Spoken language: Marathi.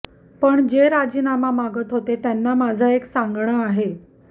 पण जे राजीनामा मागत होते त्यांना माझं एक सांगणं आहे